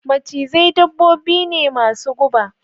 Macizai dabbobi ne masu guba